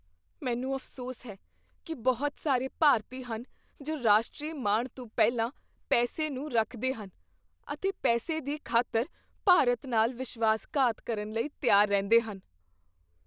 ਮੈਨੂੰ ਅਫ਼ਸੋਸ ਹੈ ਕੀ ਬਹੁਤ ਸਾਰੇ ਭਾਰਤੀ ਹਨ ਜੋ ਰਾਸ਼ਟਰੀ ਮਾਣ ਤੋਂ ਪਹਿਲਾਂ ਪੈਸੇ ਨੂੰ ਰੱਖਦੇ ਹਨ ਅਤੇ ਪੈਸੇ ਦੀ ਖ਼ਾਤਰ ਭਾਰਤ ਨਾਲ ਵਿਸ਼ਵਾਸਘਾਤ ਕਰਨ ਲਈ ਤਿਆਰ ਰਹਿੰਦੇ ਹਨ।